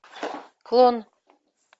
клон